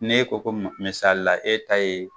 Ne ko ko mis misalila e ta ye